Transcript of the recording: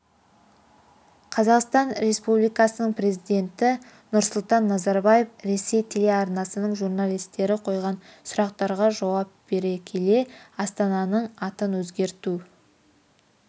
қазақстан республикасының президенті нұрсұлтан назарбаев ресей телеарнасының журналистері қойған сұрақтарға жауап бере келе астананың атын өзгерту